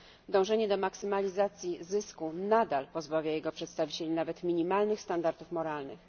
Dążenie do maksymalizacji zysku nadal pozbawia jego przedstawicieli nawet minimalnych standardów moralnych.